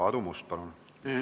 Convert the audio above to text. Aadu Must, palun!